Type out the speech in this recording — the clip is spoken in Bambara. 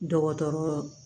Dɔgɔtɔrɔ